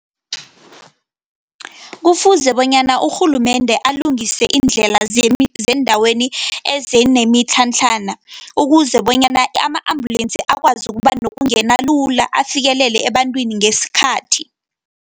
Kufuze bonyana urhulumende alungise iindlela zeendaweni ezinemitlhatlhana, ukuze bonyana ama-ambulensi akwazi ukuba nokungena lula afikelele ebantwini ngesikhathi.